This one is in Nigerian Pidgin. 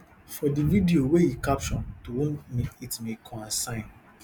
for di video wey e caption to whom it may kwansighn